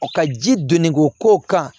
Ka ji donni ko ko kan